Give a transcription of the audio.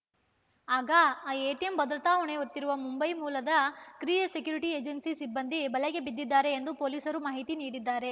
ಆಗ ಆ ಎಟಿಎಂ ಭದ್ರತಾ ಹೊಣೆ ಹೊತ್ತಿರುವ ಮುಂಬೈ ಮೂಲದ ಕ್ರಿಯೇ ಸೆಕ್ಯುರಿಟಿ ಏಜೆನ್ಸಿ ಸಿಬ್ಬಂದಿ ಬಲೆಗೆ ಬಿದ್ದಿದ್ದಾರೆ ಎಂದು ಪೊಲೀಸರು ಮಾಹಿತಿ ನೀಡಿದ್ದಾರೆ